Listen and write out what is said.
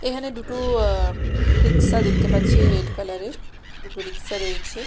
এহানে দুটো অ্যা রিকশা দেখতে পাচ্ছি রেড কালার -এর দুটো রিকশা রয়েছে।